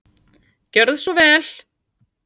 Gjörðu svo vel.